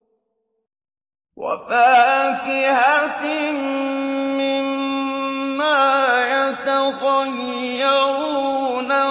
وَفَاكِهَةٍ مِّمَّا يَتَخَيَّرُونَ